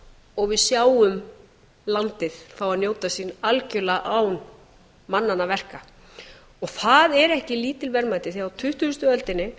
og við sjáum landið fá að njóta sín algerlega án mannanna verka það er ekki lítil verðmæti því á tuttugustu öldinni